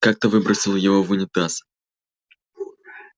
как-то выбросил его в унитаз